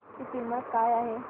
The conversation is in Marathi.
ची किंमत काय आहे